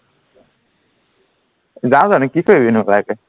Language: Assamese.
যাও জানো কি কৰিবিনো যাইকে